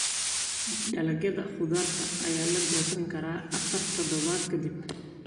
Dalagyada khudradda ayaa la goosan karaa afar toddobaad ka dib.